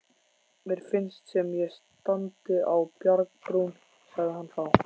Mér finnst sem ég standi á bjargbrún, sagði hann þá.